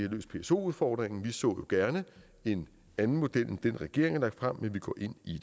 løst pso udfordringen vi så gerne en anden model end den regeringen har frem men vi går ind i